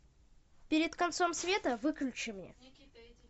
перед концом света выключи мне